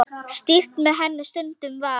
Stýrt með henni stundum var.